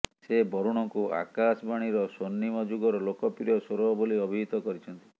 ସେ ବରୁଣଙ୍କୁ ଆକାଶବାଣୀର ସ୍ୱର୍ଣ୍ଣିମ ଯୁଗର ଲୋକପ୍ରିୟ ସ୍ୱର ବୋଲି ଅଭିହିତ କରିଛନ୍ତି